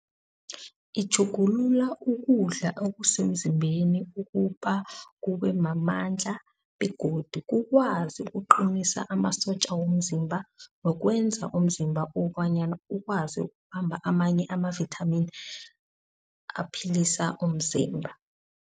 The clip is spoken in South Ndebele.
Itjhugulula ukudla okusemzimbeni ukuba kube mamandla begodu ukwazi ukuqinisa amasotja womzimba. Nokwenza umzimba ukobonyana ukwazi ukubamba amanye amavithamini aphilisa umzimba.